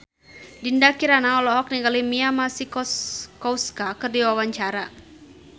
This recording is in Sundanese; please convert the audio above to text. Dinda Kirana olohok ningali Mia Masikowska keur diwawancara